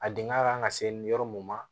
A dingɛ kan ka se yɔrɔ mun ma